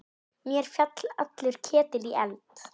Mér féll allur ketill í eld.